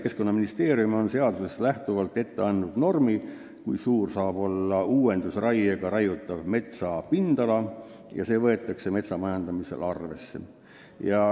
Keskkonnaministeerium on seadusest lähtuvalt andnud ette normi, kui suur saab olla uuendusraiega raiutava metsa pindala, ja seda võetakse metsa majandamisel arvesse.